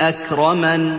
أَكْرَمَنِ